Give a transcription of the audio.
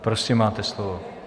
Prosím, máte slovo.